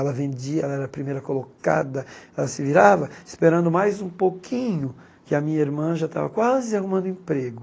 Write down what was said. Ela vendia, ela era a primeira colocada, ela se virava, esperando mais um pouquinho, que a minha irmã já estava quase arrumando emprego.